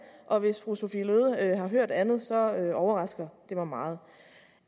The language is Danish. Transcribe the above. og hvis fru sophie løhde har hørt andet så overrasker det mig meget